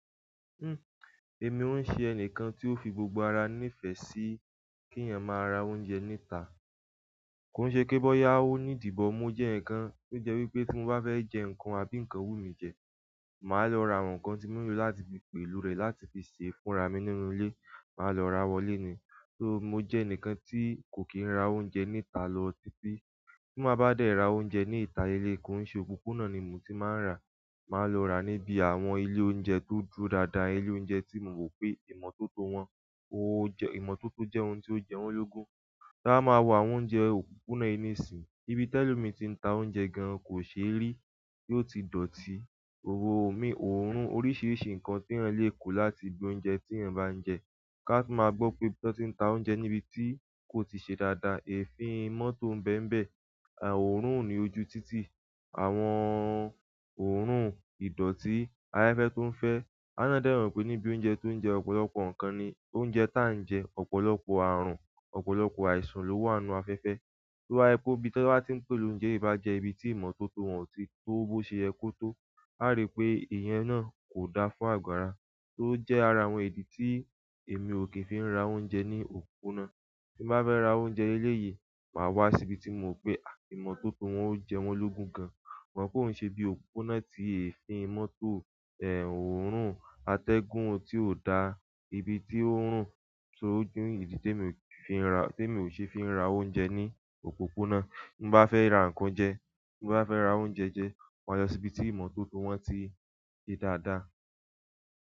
Uhm, èmi ó ṣe ẹnìkan tí ó fi gbogbo ara nífẹ̀ẹ́ sí kí èèyàn máa ra oúnjẹ níta. Kò ṣe pé bọ́yá ó ní idi but mo jẹ́ enikan tó jẹ́ wípé tí mo bá fẹ́ jẹ ǹkan àbí ǹkan wú mi jẹ, màá lọ ra àwọn nǹkan tí mo nílò láti fi pèlo rẹ̀ láti fi sè é fúnra mi nínú ilé, màá lọ ra wọlé ni. So mo jẹ́ ẹnìkan tí kò kí ń ra oúnjẹ níta lọ títí. Tí ma bá dé ra oúnjẹ ní ìta ilé, kò ṣe òpópónà ni mo ti máa ń rà á, màá lọ rà á níbi àwọn ilé oúnjẹ tó dúró dáadáa, ilé oúnjẹ tí mo mọ̀ pé ìmọ́tótó wọn, owó jẹ́-- ìmọ́tótó jẹ́ ohun tí ó jẹwó lógún. Ti a ba máa wọ àwọn oúnjẹ òpópónà ìní ìsìn, ibi tẹ́lẹ̀ mi ti ń ta oúnjẹ gan kò ṣe rí tí ó ti dọ̀tí. O mi, òórùn, oríṣiríṣi nǹkan tí èèyàn lè kó láti ibi oúnjẹ tí èèyàn bá ń jẹ. Ká máa gbo pé ibi tí wọ́n ti ń ta oúnjẹ níbi tí kò ti ṣe dáadáa, èéfi mọ́tò bẹ́mbẹ̀, à, òórùn oní ojú títì, àwọn òórùn ìdọ̀tí, afẹ́fẹ́ tó ń fẹ́. A wa ná dẹ́ mo pé níbi oúnjẹ tó ń jẹ́ ọ̀pọ̀lọpọ̀ nǹkan ni oúnjẹ táa ń jẹ́, ọ̀pọ̀lọpọ̀ ààrùn, ọ̀pọ̀lọpọ̀ àìsàn ló wà nínú afẹ́fẹ́. Tó ba je pé ibi tí wọ́n bá ti ń pèlo oúnjẹ bá jẹ́ ibi tí ìmọ́tótó wọn ò tí tó bó ṣe yẹ kó tó, a rí pé èèyàn náà kò da fún àgùara. Tó jẹ́ ara àwọn ìdí tí èmi ò kí ń fi ra oúnjẹ ní òpópónà. Tí mo bá fẹ́ ra oúnjẹ eléyìí, màá wá sí ibi tí mo mọ̀ pé à imọ́tótó wọn ó jẹwó lógún gan. Ṣùgbọ́n ko i ṣe ibí òpópónà tí èéfín mọ́tò, ẹ, òórùn atẹ́gùn tí ò da, ibi tí òórùn tí ó jù nìyẹn ìdí tí mi ò kí fi ra-- tí mi ò ṣe é fi ra oúnjẹ ní òpópónà. Bí mo bá fẹ́ ra nǹkan jẹ, bí mo bá fẹ́ ra oúnjẹ jẹ, màá lọ sí ibi tí ìmọ́tótó wọn ti ṣe dáadáa.